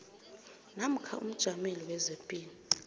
namkha umjameli wezepilo